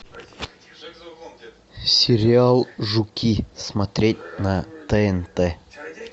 сериал жуки смотреть на тнт